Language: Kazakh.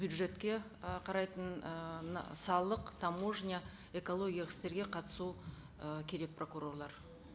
бюджетке ы қарайтын ы мына салық таможня экологиялық істерге қатысу ы керек прокурорлар